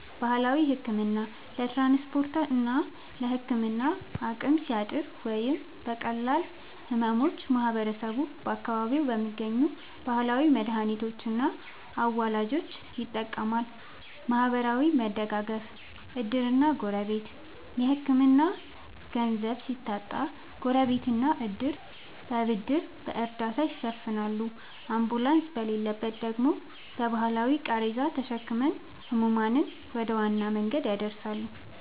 ባህላዊ ሕክምና፦ ለትራንስፖርትና ለሕክምና አቅም ሲያጥር ወይም ለቀላል ሕመሞች ማህበረሰቡ በአካባቢው በሚገኙ ባህላዊ መድኃኒቶችና አዋላጆች ይጠቀማል። ማህበራዊ መደጋገፍ (ዕድርና ጎረቤት)፦ የሕክምና ገንዘብ ሲታጣ ጎረቤትና ዕድር በብድርና በእርዳታ ይሸፍናሉ፤ አምቡላንስ በሌለበት ደግሞ በባህላዊ ቃሬዛ ተሸክመው ሕሙማንን ወደ ዋና መንገድ ያደርሳሉ።